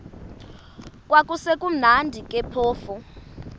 kwakusekumnandi ke phofu